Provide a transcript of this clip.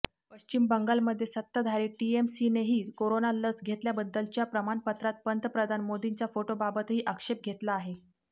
पश्चिम बंगालमध्ये सत्ताधारी टीएमसीनेही कोरोना लस घेतल्याबद्दलच्या प्रमाणपत्रात पंतप्रधान मोदींच्या फोटोबाबतही आक्षेप घेतला आहे